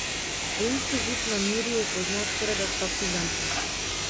Rimski zid na Mirju pozna skorajda vsak Ljubljančan.